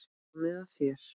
Komið að þér.